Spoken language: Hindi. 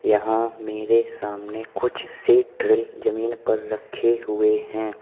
यहां मेरे सामने कुछ सेट्रे जमीन पर रखे हुए हैं।